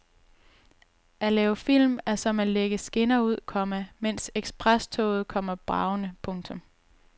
At lave film er som at lægge skinner ud, komma mens eksprestoget kommer bragende. punktum